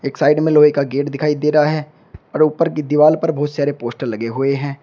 एक साइड में लोहे का गेट दिखाई दे रहा है और ऊपर की दीवाल पर बहुत सारे पोस्टर लगे हुए हैं।